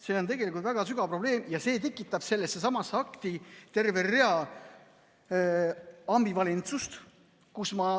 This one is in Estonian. See on tegelikult väga sügav probleem ja see tekitab sellessesamasse akti terve hulga ambivalentsust.